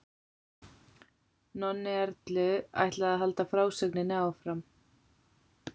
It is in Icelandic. Nonni Erlu ætlaði að halda frásögninni áfram.